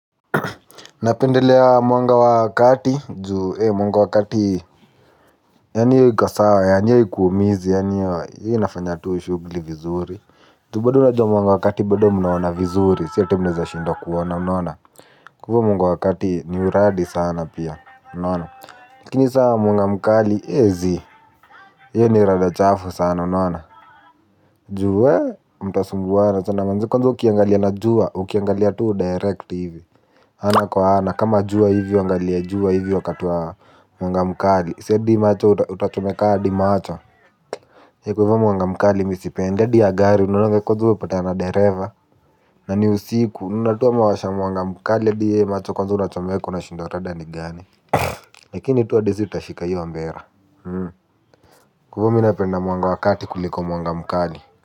Napendelea mwanga wa kati juu mwanga wa kati. Yaani hii iko sawa yani hio haikuumizi. Yaani hio inafanya tu shugli vizuri. Tu bado unajua mwanga wakati bado mnaona vizuri. Siete mnseza shindwabkuona inaona. Kwa hivo mwanga wakati ni uradi sana pia mnona. Kini saa mwanga mkali ezi hio ji rada chafu sana unaona. Juu we mtasumbuana chana manzi. Kwanza ukiangalia na jua ukiangalia tuu direct hivi ana kwa ana kama juwa hivyo angalia jua hivyo wakatiwa wanga mkali si hadi macho utachomeka hadi macho ye kwahivio mwangamkali misipende hadi yagari unaona vile kwaza ume patana dereva na ni usiku unaona tu amewasha mwangamkali hadi ye macho kwaza unachomeko unashindwa rada ni gani lakini tuwa hadi si tutashika hio mbera kwa hivo minapenda mwangawakati kuliko mwangamkali.